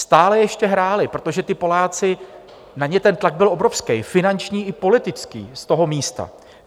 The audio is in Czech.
Stále ještě hráli, protože ti Poláci, na ně ten tlak byl obrovský, finanční i politický z toho místa.